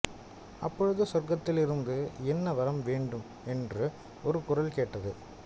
அப்பொழுது சொர்க்கத்திலிருந்து என்ன வரம் வேண்டுமென்று ஒரு குரல் கேட்டது